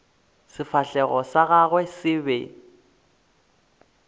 sefahlego sa gagwe se be